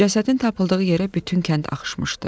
Cəsədin tapıldığı yerə bütün kənd axışmışdı.